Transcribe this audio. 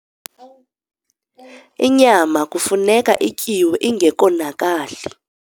inyama kufuneka ityiwe ingekonakali